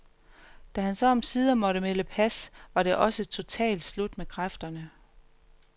Da han så omsider måtte melde pas, var det også totalt slut med kræfterne.